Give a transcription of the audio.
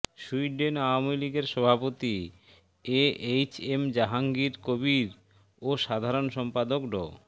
Sweden Awami লীগের সভাপতি A H M Jahangir Kabir ও সাধারণ সম্পাদক ড